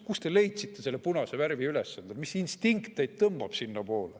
Kust te selle punase värvi üles leidsite, mis instinkt teid sinnapoole tõmbab?